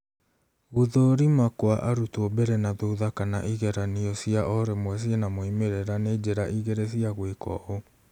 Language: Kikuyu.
Gũthũrĩma kwa arũtwo mbere na thutha kana ĩgeranio cĩa orĩmwe cĩna moimĩrĩra nĩ njĩra ĩgĩrĩ cĩa gwĩka ũũ.